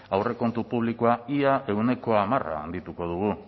aurrekontu publikoa ia ehuneko hamar handituko dugu